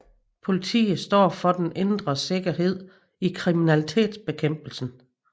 Politiet står for den indre sikkerhed og kriminalitetbekæmpelsen